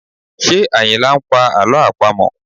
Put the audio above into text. Ṣé Ayinla ń pa àlọ́ àpamọ̀?